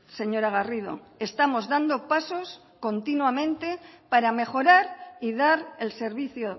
señora garrido estamos dando pasos continuamente para mejorar y dar el servicio